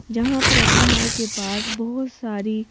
जहां प्रतिमा के पास बहोत सारी--